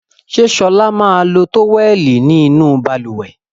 Ṣé Ṣọlá yóò lo tówẹ́lì inú balùwẹ̀?